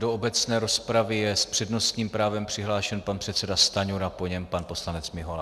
Do obecné rozpravy je s přednostním právem přihlášen pan předseda Stanjura, po něm pan poslanec Mihola.